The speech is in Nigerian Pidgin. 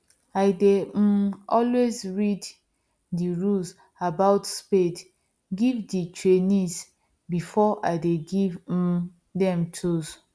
i dey um always read the rules about spade give the trainees before i dey give um them tools